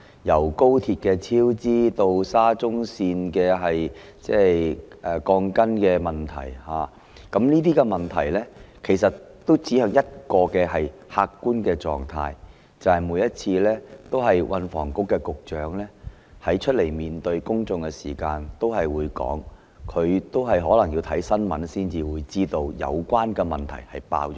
由高鐵超支，及至沙田至中環綫的鋼筋問題，這些問題均指向一個客觀的狀況，即是運房局局長每次出來向公眾交代時也會說，他可能要看新聞報道才知道有關問題已"爆煲"。